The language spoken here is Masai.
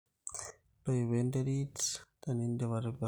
ntoipo te nderit tenidipm atipika